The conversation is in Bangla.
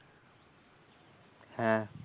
হ্যাঁ।